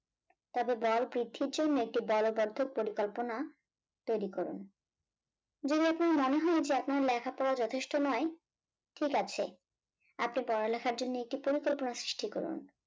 তবে বল বৃদ্ধির জন্য একটি বলবদ্ধ পরিকল্পনা তৈরি করুন যদি আপনার মনে হয় যে আপনার লেখাপড়া যথেষ্ট নয় ঠিক আছে আপনি পড়া লেখার জন্য একটি পরিকল্পনা সৃষ্টি করুন